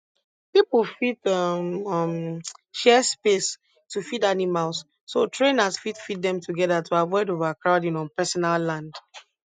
people fit um um share space to feed animals so um trainers fit feed them together to avoid overcrowding on personal land